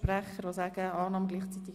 Ist das richtig?